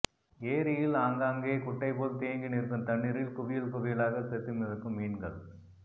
ஏரியில் ஆங்காங்கே குட்டைபோல் தேங்கி நிற்கும் தண்ணீரில் குவியல் குவியலாக செத்து மிதக்கும் மீன்கள்